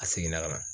A seginna ka na